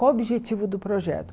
Qual o objetivo do projeto?